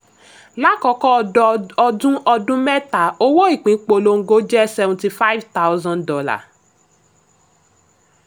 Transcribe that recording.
lákọ́kọ́ ọdún ọdún mẹ́ta owó ìpín polongo jẹ́ seventy five thousand dollars